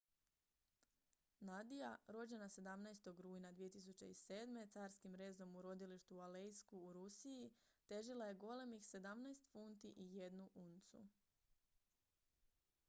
nadia rođena 17. rujna 2007. carskim rezom u rodilištu u aleisku u rusiji težila je golemih 17 funti i 1 uncu